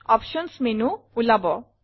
options menu ওলাব